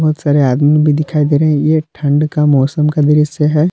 बहुत सारे आदमी भी दिखाई दे रहे है ये ठंड का मौसम का दृश्य है।